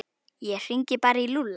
Ég hringi bara í Lúlla.